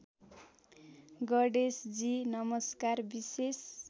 गणेशजी नमस्कार विशेष